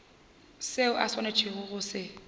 seo o swanetšego go se